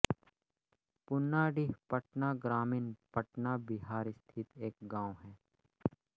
पूनाडीह पटना ग्रामीण पटना बिहार स्थित एक गाँव है